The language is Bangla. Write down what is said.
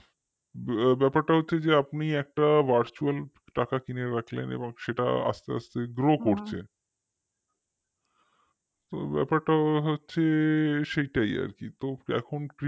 ব্যাপারটা হচ্ছে আপনি একটা virtual টাকা কিনে রাখলেন এবং সেটা আস্তে আস্তে grow করছে তো ব্যাপারটা হচ্ছে সেটাই আর কি তো এখন p